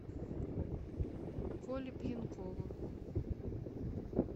коле пьянкову